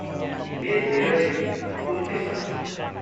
मे तेह्रदेखि उन्तिससम्म।